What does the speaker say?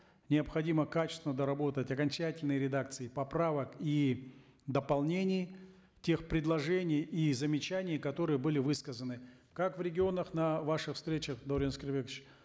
необходимо качественно доработать окончательные редакции поправок и дополнений тех предложений и замечаний которые были высказаны как в регионах на ваших встречах даурен аскербекович